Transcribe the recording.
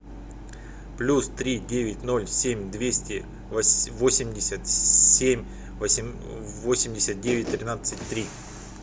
плюс три девять ноль семь двести восемьдесят семь восемьдесят девять тринадцать три